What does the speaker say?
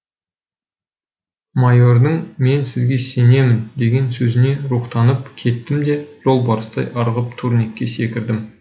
майордың мен сізге сенемін деген сөзіне рухтанып кеттім де жолбарыстай ырғып турникке секірдім